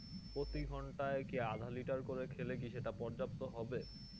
প্রতি ঘন্টায় কি আধা liter করে খেলে কি সেটা পর্যাপ্ত হবে?